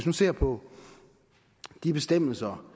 nu ser på de bestemmelser